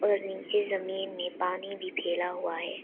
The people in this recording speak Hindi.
और नीचे जमीन में पानी भी फैला हुआ है।